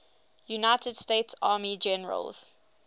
united states army generals